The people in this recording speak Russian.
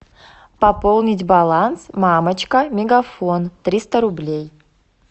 пополнить баланс мамочка мегафон триста рублей